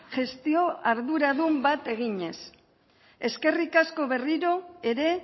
gestio arduradun bat eginez eskerrik asko berriro ere